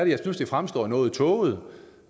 det synes jeg fremstår noget tåget